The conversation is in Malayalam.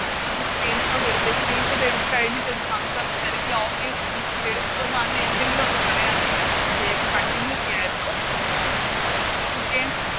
നമ്മൾ Screenshot എടുക്ക് Screenshot എടുത്ത് കഴിഞ്ഞിട്ടൊര് Thumbs up അല്ലങ്കി Okay Screenshot എടുത്തു അങ്ങനെ എന്തെങ്കിലും ഒന്ന് പറയാനെന്നുണ്ടെങ്കിൽ നമക്ക് വേഗം Continue ചെയ്യരുന്നു Okay